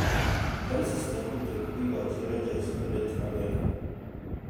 Francis Nambute kokikochi Rangers kolit akenge.